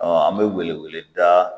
an bɛ wele wele da